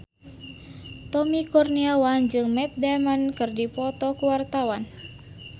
Tommy Kurniawan jeung Matt Damon keur dipoto ku wartawan